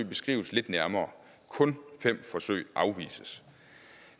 beskrives lidt nærmere kun fem forsøg afvises